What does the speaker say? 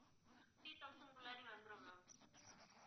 fifty thousand குள்ளாடி வந்துடும் ma'am